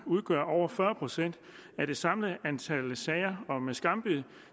udgør over fyrre procent af det samlede antal sager om skambid